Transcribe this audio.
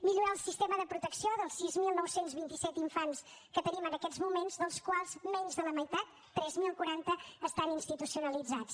millorar el sistema de protecció dels sis mil nou cents i vint set infants que tenim en aquests moments dels quals menys de la meitat tres mil quaranta estan institucionalitzats